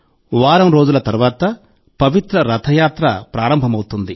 వారం రోజుల తర్వాత పవిత్ర రథయాత్ర ప్రారంభమవుతుంది